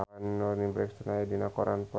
Toni Brexton aya dina koran poe Jumaah